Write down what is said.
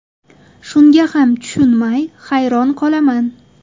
Shunga hech tushunmay, hayron qolaman”.